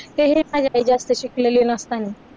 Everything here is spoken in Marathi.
तेही माझी आई जास्त शिकलेली नसतानी